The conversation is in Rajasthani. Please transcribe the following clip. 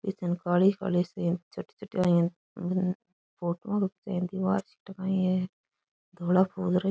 बिदिन काली काली सी छोटी छोटी हम्म फोटो काई है धोला फूल रख --